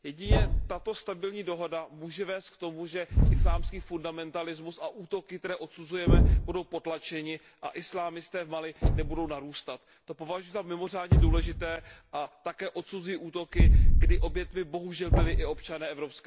Jedině tato stabilní dohoda může vést k tomu, že islámský fundamentalismus a útoky, které odsuzujeme, budou potlačeny a islámisté v Mali nebudou narůstat. To považuji za mimořádně důležité a také odsuzuji útoky, kdy obětmi bohužel byli i občané EU.